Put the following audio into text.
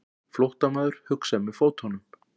Flóttamaður hugsar með fótunum.